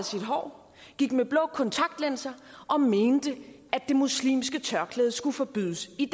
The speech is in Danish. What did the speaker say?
sit hår gik med blå kontaktlinser og mente at det muslimske tørklæde skulle forbydes i